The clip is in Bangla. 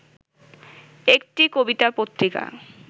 একটি কবিতা পত্রিকা